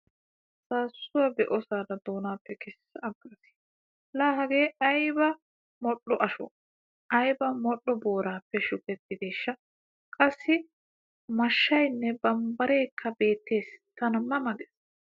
Saassuwa be'osaara doonaape kessa aggaas. Laa Hagee ayba modhdho ashoo! Ayba modhdho booraappe shukettideeshsha qassi mashshayinne bambbareekka beettes tana ma ma ges.